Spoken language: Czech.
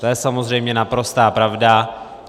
To je samozřejmě naprostá pravda.